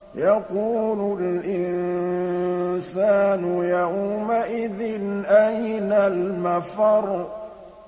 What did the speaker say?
يَقُولُ الْإِنسَانُ يَوْمَئِذٍ أَيْنَ الْمَفَرُّ